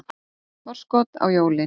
Forskot á jólin.